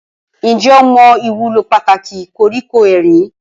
Ǹjẹ́ o mọ ìwúlò pàtàkì koríko erin?